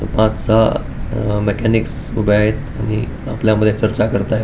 पाच सहा अ मॅकॅनिक्स उभे आहेत आणि आपल्यामध्ये चर्चा करताहेत.